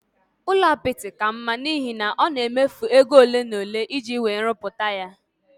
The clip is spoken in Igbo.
Ụlọ apịtị ka mma n'ihi na ọ na-efu ego ole n'ole iji wee ruputaya